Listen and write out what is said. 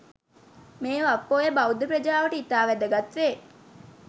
මේ වප් පෝය බෞද්ධ ප්‍රජාවට ඉතා වැදගත් වේ